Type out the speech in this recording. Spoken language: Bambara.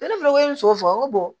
Ne bolo ko muso ko